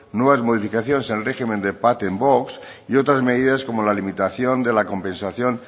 nuevas modificaciones en el régimen de patent box y otras medidas como la limitación de la compensación